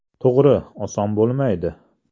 To‘g‘ri, oson bo‘lmaydi.